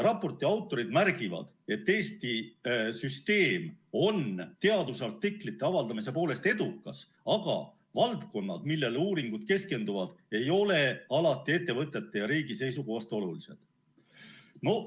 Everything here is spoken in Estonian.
Raporti autorid märgivad, et Eesti süsteem on teadusartiklite avaldamise poolest edukas, aga valdkonnad, millele uuringud keskenduvad, ei ole alati ettevõtete ja riigi seisukohast olulised.